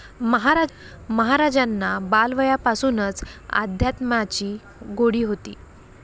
महाराजांना बालवयापासूनच अध्यात्माची गोडी होती.